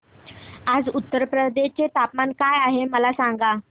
आज उत्तर प्रदेश चे तापमान काय आहे मला सांगा